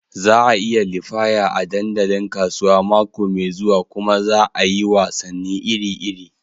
Za a yi liyafa a dandalin kasuwa mako mai zuwa kuma za a yi wasanni iri-iri.